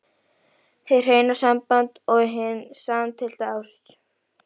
HIÐ HREINA SAMBAND OG HIN SAMSTILLTA ÁST